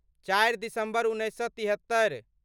चारि दिसम्बर तिहत्तरि